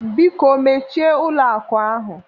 Biko mechie ụlọ akụ ahụ!